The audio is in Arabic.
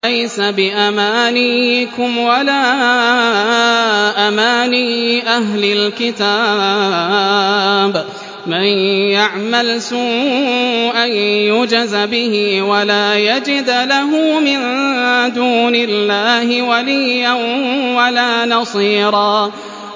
لَّيْسَ بِأَمَانِيِّكُمْ وَلَا أَمَانِيِّ أَهْلِ الْكِتَابِ ۗ مَن يَعْمَلْ سُوءًا يُجْزَ بِهِ وَلَا يَجِدْ لَهُ مِن دُونِ اللَّهِ وَلِيًّا وَلَا نَصِيرًا